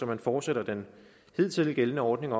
man fortsætter den hidtil gældende ordning